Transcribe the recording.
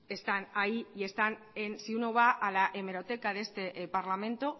están ahí y están en si uno va a la hemeroteca de este parlamento